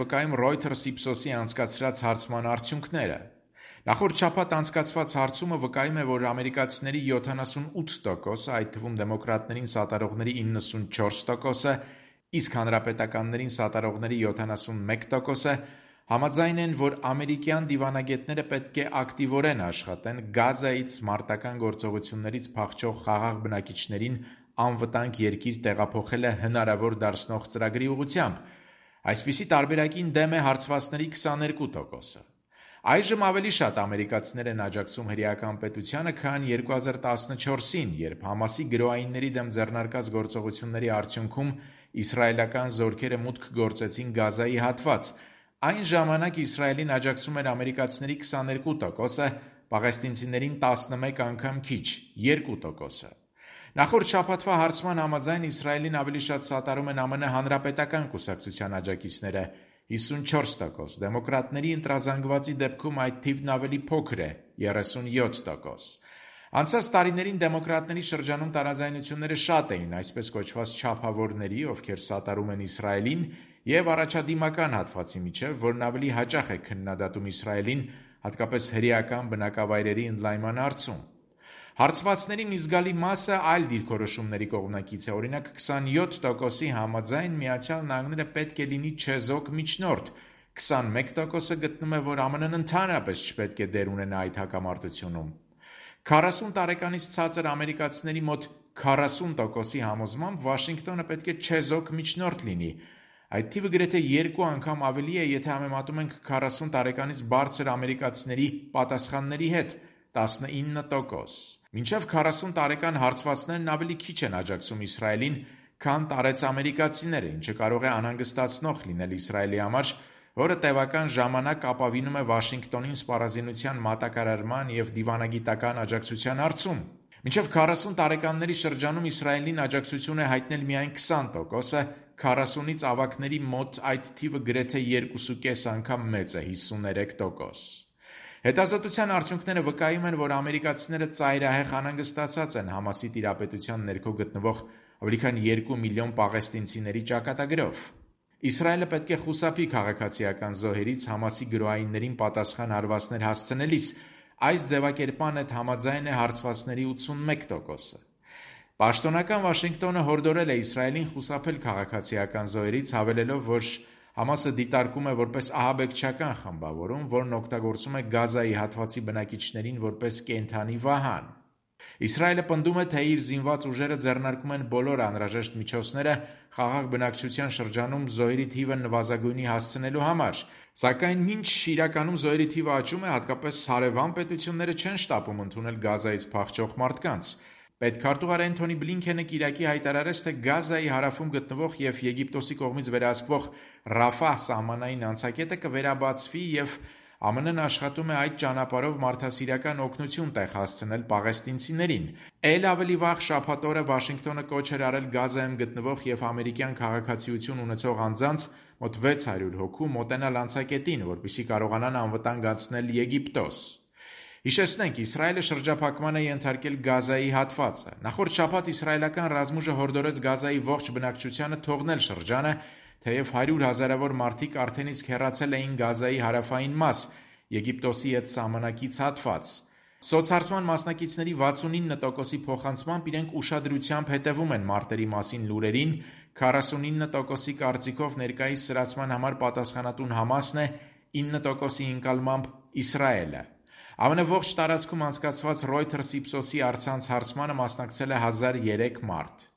վկայում «Reuters»/«Ipsos»-ի անցկացրած հարցման արդյունքները։ Նախորդ շաբաթ անցկացված հարցումը վկայում է, որ ամերիկացիների 78%-ը, այդ թվում՝ դեմոկրատներին սատարողների 94%-ը, իսկ հանրապետականներին սատարողների 71%-ը, համաձայն են, որ «ամերիկյան դիվանագետները պետք է ակտիվորեն աշխատեն՝ Գազայից՝ մարտական գործողություններից փախչող խաղաղ բնակիչներին անվտանգ երկիր տեղափոխելը հնարավոր դարձնող ծրագրի ուղղությամբ»: Այսպիսի տարբերակին դեմ է հարցվածների 22%-ը։ Այժմ ավելի շատ ամերիկացիներ են աջակցում հրեական պետությանը, քան 2014 թվականին, երբ «Համասի» գրոհայինների դեմ ձեռնարկած գործողությունների արդյունքում իսրայելական զորքերը մուտք գործեցին Գազայի հատված։ Այն ժամանակ Իսրայելին աջակցում էր ամերիկացիների 22%-ը, պաղեստինցիներին՝ տասմեկ անգամ քիչ՝ 2%-ը։ Նախորդ շաբաթվա հարցման համաձայն, Իսրայելին ավելի շատ սատարում են ԱՄՆ հանրապետական կուսակցության աջակիցները՝ 54%։ Դեմոկրատների ընրազանգվածի դեպքում այդ թիվն ավելի փոքր է՝ 37%։ Անցած տարիներին դեմոկրատների շրջանում տարաձայնությունները շատ էին՝ այսպես կոչված, չափավորների, ովքեր սատարում են Իսրայելին, և առաջադիմական հատվածի միջև, որն ավելի հաճախ է քննադատում Իսրայելին, հատկապես հրեական բնակավայրերի ընդլայնման հարցում: Հարցվածների մի զգալի մասը այլ դիրքորոշումների կողմնակից է։ Օրինակ, 27%-ի համաձայն, Միացյալ Նահանգները «պետք է լինի չեզոք միջնորդ»։ 21%-ը գտնում է, որ ԱՄՆ-ն, ընդհանրապես, չպետք է դեր ունենա այդ հակամարտությունում: 40 տարեկանից ցածր ամերիկացիների մոտ 40%-ի համոզմամբ, Վաշինգտոնը պետք է չեզոք միջնորդ լինի։ Այս թիվը գրեթե երկու անգամ ավելի է, եթե համեմատում ենք 40 տարեկանից բարձր ամերիկացիների պատասխանների հետ՝ 19%: Մինչև 40 տարեկան հարցվածներն ավելի քիչ են աջակցում Իսրայելին, քան տարեց ամերիկացիները, ինչը կարող է անհանգստացնող լինել Իսրայելի համար, որը տևական ժամանակ ապավինում է Վաշինգտոնին՝ սպառազինության մատակարարման և դիվանագիտական աջակցության հարցում: Մինչև 40 տարեկանների շրջանում Իսրայելին աջակցություն է հայտնել միայն 20%-ը, 40-ից ավագների մոտ այդ թիվը գրեթե երկուսուկես անգամ մեծ է՝ 53%: Հետազոտության արդյունքները վկայում են, որ ամերիկացիները ծայրահեղ անհանսգտացած են «Համասի» տիրապետության ներքո գտնվող ավելի քան երկու միլիոն պաղեստինցիների ճակատագրով։ «Իսրայելը պետք է խուսափի քաղաքացիական զոհերից՝ «Համասի» գրոհայիններին պատասխան հարվածներ հասցնելիս» ձևակերպման հետ համաձայն է հարցվածների 81%-ը։ Պաշտոնական Վաշինգտոնը հորդորել է Իսրայելին խուսափել քաղաքացիական զոհերից՝ հավելելով, որ «Համասը» դիտարկում է որպես ահաբեկչական խմբավորում, որն օգտագործում է Գազայի հատվածի բնակիչներին որպես կենդանի վահան: Իսրայելը պնդում է, թե իր զինված ուժերը ձեռնարկում են բոլոր անհրաժեշտ միջոցները՝ խաղաղ բնակչության շրջանում զոհերի թիվը նվազագույնի հասցնելու համար: Սակայն մինչ, իրականում, զոհերի թիվն աճում է՝ հատկապես հարևան պետությունները չեն շտապում ընդունել Գազայից փախչող մարդկանց: Պետքարտուղար Էնթոնի Բլինքենը կիրակի հայտարարեց, թե Գազայի հարավում գտնվող և Եգիպտոսի կողմից վերահսկվող «Ռաֆահ» սահմանային անցակետը կվերաբացվի, և ԱՄՆ-ն աշխատում է այդ ճանապարհով մարդասիրական օգնություն տեղ հասցնել պաղեստինցիներին: Էլ ավելի վաղ՝ շաբաթ օրը Վաշինգտոնը կոչ էր արել Գազայում գտնվող և ամերիկյան քաղաքացիություն ունեցող անձանց՝ մոտ 600 հոգու, մոտենալ անցակետին, որպեսզի կարողանան անվտանգ անցնել Եգիպտոս: Հիշեցնենք, Իսրայելը շրջափակման է ենթարկել Գազայի հատվածը։ Նախորդ շաբաթ իսրայելական ռազմուժը հորդորեց Գազայի ողջ բնակչությանը թողնել շրջանը, թեև հարյուր հազարավոր մարդիկ արդեն իսկ հեռացել էին Գազայի հարավային մաս՝ Եգիպտոսի հետ սահմանակից հատված։ Սոցհարցման մասնակիցների 69%-ի փոխանցմամբ, իրենք ուշադրությամբ հետևում է մարտերի մասին լուրերին: 49%-ի կարծիքով ներկայիս սրացման համար պատասխանատուն «Համասն» է, 9%-ի ընկալմամբ՝ Իսրայելը։ ԱՄՆ ողջ տարածքում անցկացված «Reuters»/«Ipsos»-ի առցանց հարցմանը մասնակցել է 1 003 մարդ: